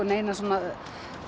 neinar svona